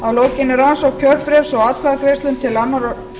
að lokinni rannsókn kjörbréfs og atkvæðagreiðslum um annað og